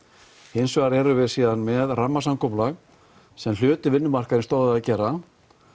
hins vegar erum við síðan með rammasamkomulag sem hluti af vinnumarkaði stóð að gera